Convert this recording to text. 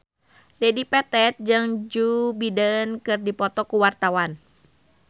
Dedi Petet jeung Joe Biden keur dipoto ku wartawan